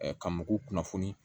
ka mɔgɔw kunnafoni